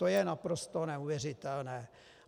To je naprosto neuvěřitelné.